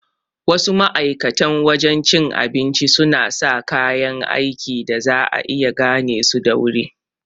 Wasu ma'aikatan wajan cin abincin suna sa kaya aiki da za'a iya gane su da wuri